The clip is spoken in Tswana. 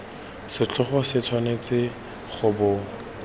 setlhogo se tshwanetse go bo